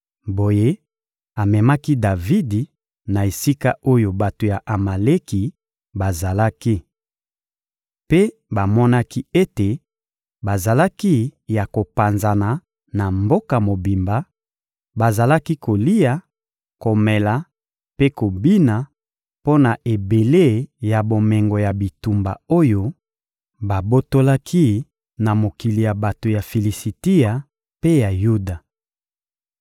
Boye amemaki Davidi na esika oyo bato ya Amaleki bazalaki. Mpe bamonaki ete bazalaki ya kopanzana na mboka mobimba, bazalaki kolia, komela mpe kobina mpo na ebele ya bomengo ya bitumba oyo babotolaki na mokili ya bato ya Filisitia mpe ya Yuda.